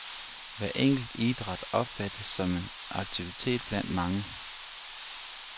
Hver enkelt idræt opfattes som en aktivitet blandt mange.